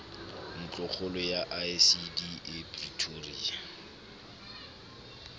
ntlokgolo ya icd e pretoria